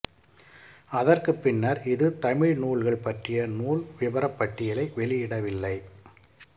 அதற்குப் பின்னர் இது தமிழ் நூல்கள் பற்றிய நூல் விபரப் பட்டியலை வெளியிடவில்லை